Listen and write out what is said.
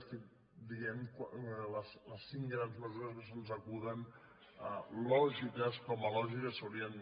estic dient les cinc grans mesures que se’ns acuden lògiques com a lògiques s’haurien